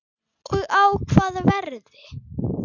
Og á hvaða verði?